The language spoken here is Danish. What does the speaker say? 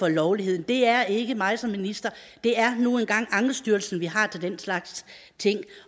er lovligt det er ikke mig som minister det er nu engang ankestyrelsen vi har til den slags ting